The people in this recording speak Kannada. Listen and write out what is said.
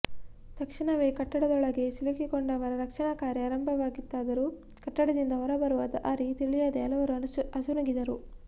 ತಕ್ಷಣವೇ ಕಟ್ಟಡದೊಳಗೆ ಸಿಲುಕಿಕೊಂಡವರ ರಕ್ಷಣಾ ಕಾರ್ಯ ಆರಂಭವಾಗಿತ್ತಾದರೂ ಕಟ್ಟಡದಿಂದ ಹೊರಬರುವ ದಾರಿ ತಿಳಿಯದೆ ಹಲವರು ಅಸುನೀಗಿದರು